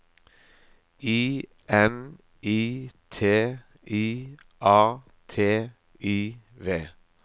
I N I T I A T I V